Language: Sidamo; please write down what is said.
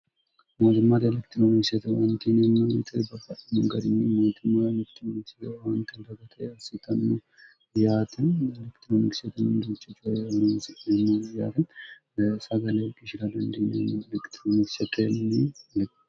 motimmaati elekitiroonikistwantinmmite bafinigarinyi matimma mittimanocgwantibgt yasitnnu iyti lekitiroonikistntci cyeninciemyarin sagaleg ishira dndinyen elekitironikisakelni le